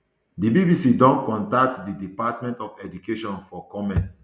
di bbc don contact di department of education for comment